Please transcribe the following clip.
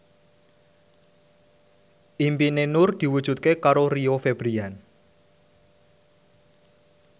impine Nur diwujudke karo Rio Febrian